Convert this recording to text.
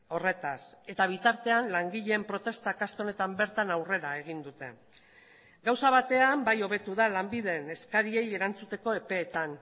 horretaz eta bitartean langileen protestak aste honetan bertan aurrera egin dute gauza batean bai hobetu da lanbiden eskariei erantzuteko epeetan